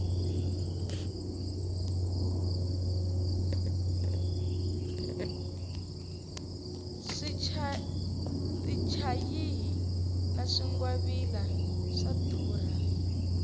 tichayihi na swingwavila swa durha